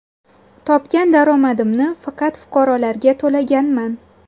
Topgan daromadimni faqat fuqarolarga to‘laganman.